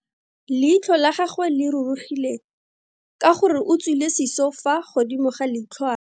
Leitlho la gagwe le rurugile ka gore o tswile siso fa godimo ga leitlhwana.